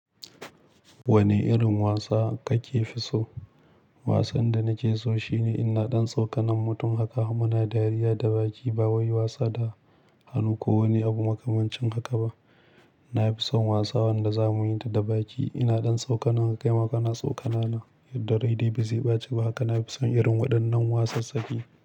Wane irin wasa kake fi so? Wasan da nake so shine ina ɗan tsokanar mutum haka muna dariya da baki ba wai wasa da hannu ko wani abu makamancin haka ba. Na fi son wasa wanda za muyi ta da baki. Ina ɗan tsokanar ka kaima kana tsokana na yadda rai dai ba zai ɓaci ba. Haka na fi son irin waɗannan wasa tsaki.